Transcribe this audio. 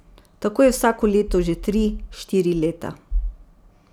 Tako je vsako leto že tri, štiri leta.